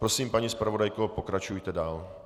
Prosím, paní zpravodajko, pokračujte dál.